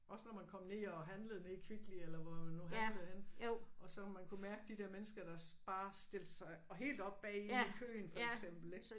Også når man kom ned og handlede nede i Kvickly eller hvor man nu handlede henne og så man kunne mærke de der mennesker der bare stilte sig helt op bagi i køen for eksempel ik